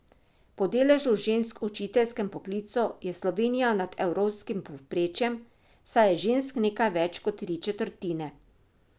Po deležu žensk v učiteljskem poklicu je Slovenija nad evropskim povprečjem, saj je žensk nekaj več kot tri četrtine.